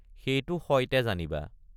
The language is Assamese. সেইটো সইতে জানিবা।